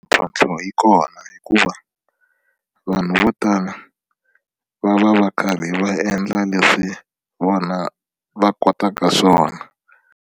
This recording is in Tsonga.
Mintlhontlho yi kona hikuva vanhu vo tala va va va karhi va endla leswi vona va kotaka swona.